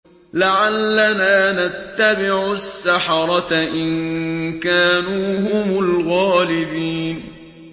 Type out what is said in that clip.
لَعَلَّنَا نَتَّبِعُ السَّحَرَةَ إِن كَانُوا هُمُ الْغَالِبِينَ